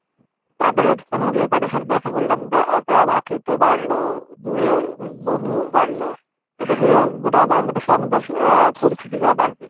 তাদের ওখানে যেয়ে তাদের সাথে দেখা করলাম বা একটা ভাতৃত্ত বাড়লো দুরে বন্ধু বাড়লো এদিকে গোটা বাংলাদেশে আমাদের আহ পরিচিতিটা বাড়বে।